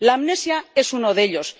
La amnesia es uno de ellos.